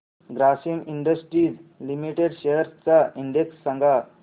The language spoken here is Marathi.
ग्रासिम इंडस्ट्रीज लिमिटेड शेअर्स चा इंडेक्स सांगा